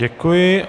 Děkuji.